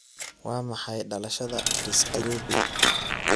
Waa maxay dhalashada chris kirubi?